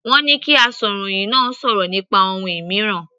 Wọ́n ní kí asọ̀rọ̀hìn náà sọ̀rọ̀ nípa ohun mìíràn.